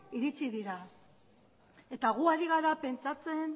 iritsi dira eta gu ari gara pentsatzen